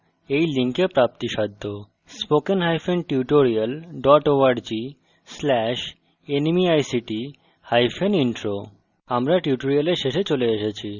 এই বিষয়ে বিস্তারিত তথ্য এই link প্রাপ্তিসাধ্য http:// spokentutorial org/nmeictintro